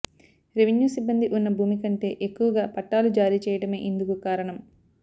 revenue సిబ్బంది ఉన్న భూమి కంటే ఎక్కువగా పట్టాలు జారీ చేయడమే ఇందుకు కారణం